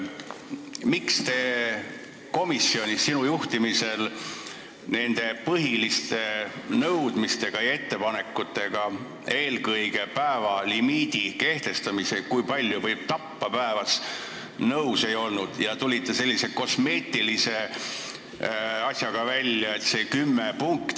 Miks te sinu juhitavas komisjonis ei olnud nõus nende põhiliste nõudmiste ja ettepanekutega, eelkõige limiidi kehtestamisega, kui palju võib päevas tappa, ja tulite välja sellise kosmeetilise asjaga?